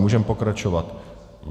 Můžeme pokračovat.